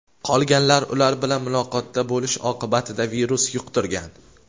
qolganlar ular bilan muloqotda bo‘lish oqibatida virus yuqtirgan.